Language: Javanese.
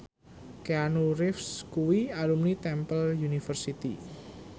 Keanu Reeves kuwi alumni Temple University